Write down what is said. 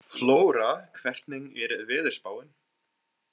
Flóra, hvernig er veðurspáin?